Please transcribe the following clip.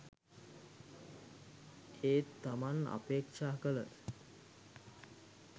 ඒත් තමන් අපේක්ෂා කළ